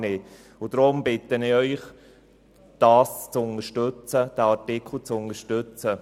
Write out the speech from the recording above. Deshalb bitte ich Sie, diesen Artikel zu unterstützen.